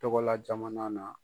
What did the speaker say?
Togola jamana na.